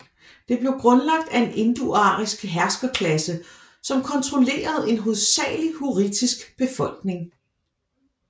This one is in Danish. Det blev grundlagt af en indoarisk herskerklasse som kontrollerede en hovedsagelig hurrittisk befolkning